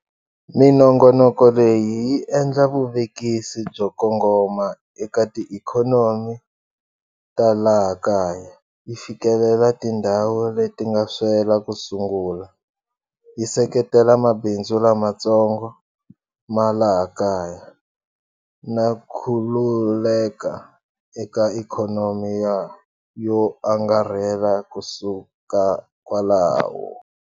Minongonoko leyi yi endla vuvekisi byo kongoma eka tiikhonomi ta laha kaya, yi fikelela tindhawu leti nga swela ku sungula, yi seketela mabindzu lamatsongo ma laha kaya na khulukeka eka ikhonomi yo angarhela kusuka kwalaho.